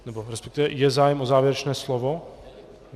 Nebo respektive, je zájem o závěrečné slovo?